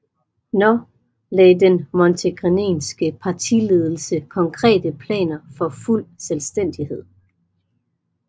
Nå lagde den montenegrinske partiledelse konkrete planer for fuld selvstændighed